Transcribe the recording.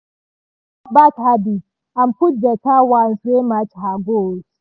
she comot bad habits and put better ones wey match her goals